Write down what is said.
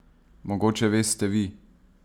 Mogoče veste vi?